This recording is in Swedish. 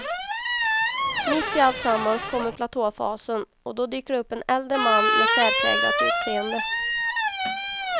Mitt i alltsammans kommer platåfasen och då dyker det upp en äldre man med särpräglat utseende.